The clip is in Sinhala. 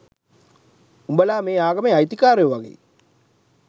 උඹලා මේ ආගමේ අයිතිකාරයො වගේ.